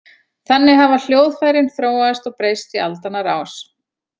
Þannig hafa hljóðfærin þróast og breyst í aldanna rás.